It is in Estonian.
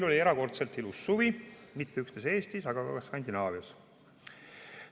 Oli erakordselt ilus suvi, mitte üksnes Eestis, vaid ka Skandinaavias.